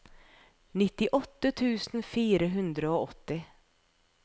nittiåtte tusen fire hundre og åtti